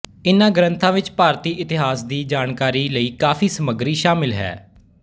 ਇਹਨਾਂ ਗ੍ਰੰਥਾਂ ਵਿੱਚ ਭਾਰਤੀ ਇਤਿਹਾਸ ਦੀ ਜਾਣਕਾਰੀ ਲਈ ਕਾਫ਼ੀ ਸਮੱਗਰੀ ਸ਼ਾਮਿਲ ਹੈ